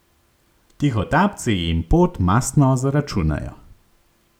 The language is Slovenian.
Tihotapci jim pot mastno zaračunajo.